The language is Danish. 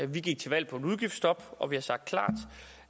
vi gik til valg på et udgiftsstop og vi har sagt klart